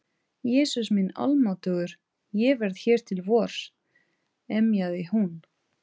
Jesús minn almáttugur, ég verð hér til vors. emjaði hún.